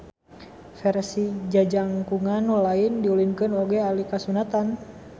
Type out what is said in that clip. Versi jajangkungan nu lain diulinkeun oge alika sunatan